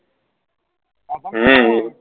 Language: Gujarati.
હમમ